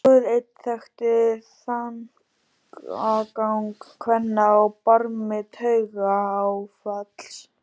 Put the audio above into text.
Guð einn þekkti þankagang kvenna á barmi taugaáfalls.